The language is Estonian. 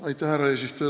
Härra eesistuja!